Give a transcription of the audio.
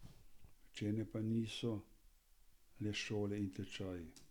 Učenje pa niso le šole in tečaji.